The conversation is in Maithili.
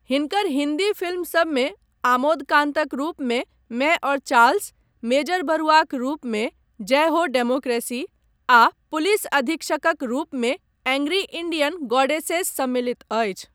हिनकर हिन्दी फिल्मसभमे आमोद कान्तक रूपमे, मैं और चार्ल्स, मेजर बरुआक रूपमे जय हो डेमोक्रेसी, आ पुलिस अधीक्षकक रूपमे एंग्री इंडियन गॉडेसेस सम्मिलित अछि।